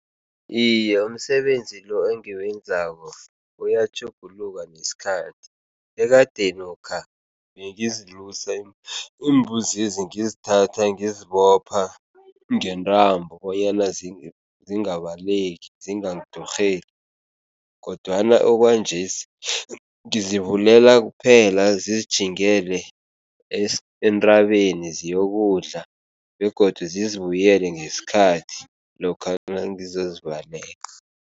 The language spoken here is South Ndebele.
Iye, umsebenzi lo engiwenzako uyatjhuguluka nesikhathi. Ekadenokha bengizilusa iimbuzezi, ngizithatha ngizibopha ngentambo bonyana zingabaleki zingangidurheli kodwana okwanjesi ngizivulela kuphela, zizitjhingele entabeni, ziyokudla begodu zizibuyele ngesikhathi lokha nangizozivalela.